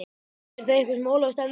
Er það eitthvað sem Ólafur stefnir að?